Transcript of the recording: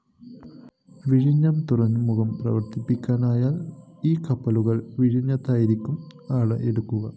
വിഴിഞ്ഞം തുറമുഖം പ്രാവര്‍ത്തികമായാല്‍ ഈ കപ്പലുകള്‍ വിഴിഞ്ഞത്തായിരിക്കും അടുക്കുക